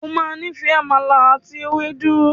O ma níìfẹ̀ “àmàlà àti ewédú”.